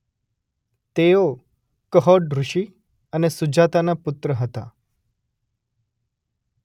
તેઓ કહોડ ઋષિ અને સુજાતાના પુત્ર હતા.